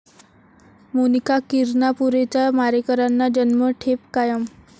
मोनिका किरणापुरेच्या मारेकऱ्यांना जन्मठेप कायम